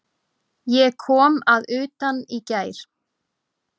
Ég kom að utan í gær.